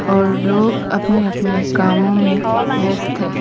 और लोग अपने अपने कामों में व्यस्त है।